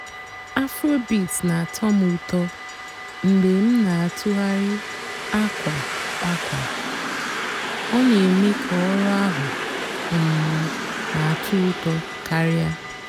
afróbeat nà-àtọ́ m ụ́tọ́ mg̀bé m nà-àtụ́ghàrị́ àkwà àkwà; ọ́ nà-èmée kà ọ̀rụ́ àhú́ um nà-àtọ́ ụ́tọ́ kàríá.